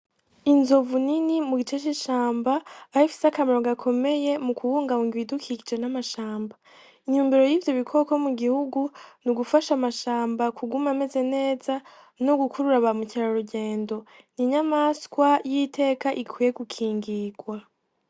Inzovu nini mu gice c'ishamba, aho ifise akamaro gakomeye mu kubungabunga ibidukikije n'amashamba, intumbero y'ivyo bikoko mu gihugu n'ugufasha amashamba kuguma ameze neza no gukurura ba mukerarugendo, n'inyamaswa y'iteka ikwiye gukingirwa.